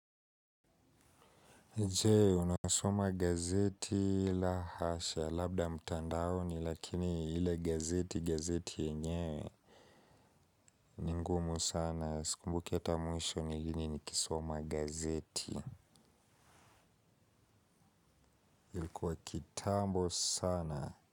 Je, unasoma gazeti la hasha, labda mtandaoni, lakini ile gazeti, gazeti yenyewe. Ni ngumu sana, sikumbuki hata mwisho ni lini nikisoma gazeti. Ilikuwa kitambo sana.